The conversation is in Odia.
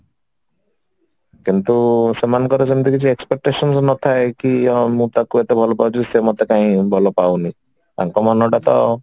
କିନ୍ତୁ ସେମାନଙ୍କର ସେମିତି କିଛି expectations ନଥାଏ କି ହଁ ମୁଁ ତାକୁ ଏତେ ଭଲ ପାଊଛି ସେ ମୋତେ କାଇଁ ଭଲ ପାଉନି ତାଙ୍କ ମନ ଟା ତ